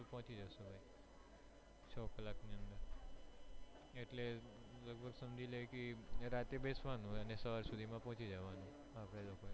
એટલે લગભગ સમજી લે કે રાતે બેસવાનું ને સવાર સુધી માં પહોંચી જવાનું